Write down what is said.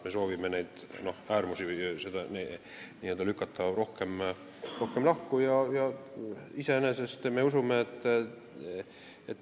Me soovime neid äärmusi n-ö rohkem lahku lükata.